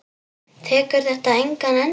Tekur þetta engan enda?